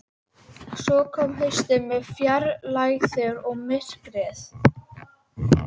Svo kom haustið með fjarlægðirnar og myrkrið.